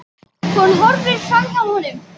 Hún horfir framhjá honum.